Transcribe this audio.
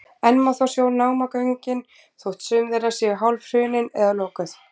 enn má þó sjá námagöngin þótt sum þeirra séu hálfhrunin eða lokuð